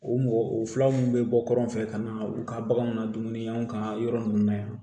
O mɔgɔ o fila minnu bɛ bɔ kɛrɛfɛ ka na u ka baganw na dumunifɛnw ka yɔrɔ ninnu na yan